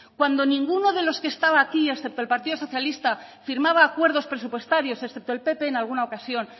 cuando ninguno de los que estaba aquí excepto el partido socialista firmaba acuerdos presupuestarios excepto el pp en alguna ocasión